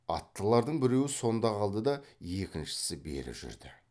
аттылардың біреуі сонда қалды да екіншісі бері жүрді